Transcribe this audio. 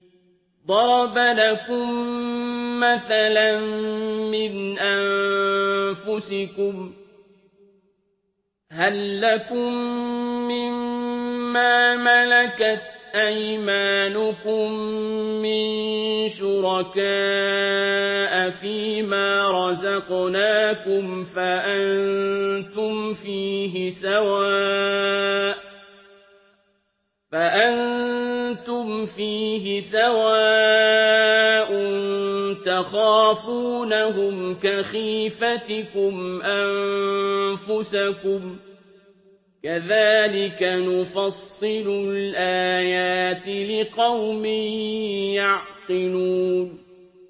ضَرَبَ لَكُم مَّثَلًا مِّنْ أَنفُسِكُمْ ۖ هَل لَّكُم مِّن مَّا مَلَكَتْ أَيْمَانُكُم مِّن شُرَكَاءَ فِي مَا رَزَقْنَاكُمْ فَأَنتُمْ فِيهِ سَوَاءٌ تَخَافُونَهُمْ كَخِيفَتِكُمْ أَنفُسَكُمْ ۚ كَذَٰلِكَ نُفَصِّلُ الْآيَاتِ لِقَوْمٍ يَعْقِلُونَ